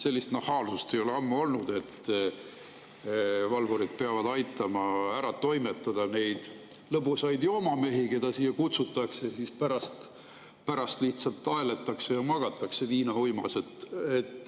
Sellist nahaalsust ei ole ammu olnud, et valvurid peavad aitama ära toimetada neid lõbusaid joomamehi, keda siia kutsutakse, siis pärast lihtsalt aeletakse ja magatakse viinauimas.